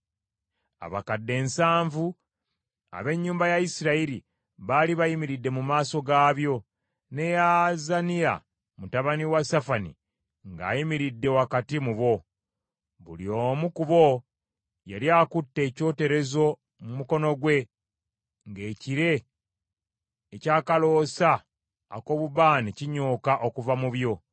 Abakadde nsanvu ab’ennyumba ya Isirayiri baali bayimiridde mu maaso gaabyo, ne Yaazaniya mutabani wa Safani, ng’ayimiridde wakati mu bo. Buli omu ku bo yali akute ekyoterezo mu mukono gwe, ng’ekire eky’akaloosa ak’obubaane kinyooka okuva mu byo.